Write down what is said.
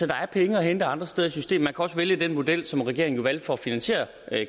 der er penge at hente andre steder i systemet man også vælge den model som regeringen jo valgte for at finansiere